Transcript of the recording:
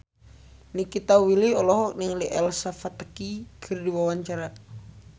Nikita Willy olohok ningali Elsa Pataky keur diwawancara